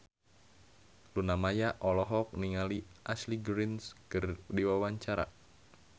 Luna Maya olohok ningali Ashley Greene keur diwawancara